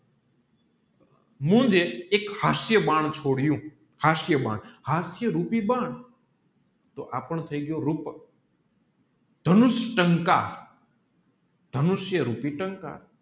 મુજે એક હાસ્ય બાણ છોડ્યું હાસ્ય બાણ હાસ્ય રૂપી બાણ તોહ આપણ થયી ગયો દાનુષ ટંકાર દાનુષ્ય રૂપી ટંકાર